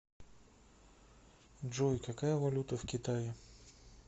джой какая валюта в китае